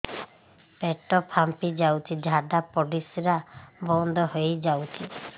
ପେଟ ଫାମ୍ପି ଯାଉଛି ଝାଡା ପରିଶ୍ରା ବନ୍ଦ ହେଇ ଯାଉଛି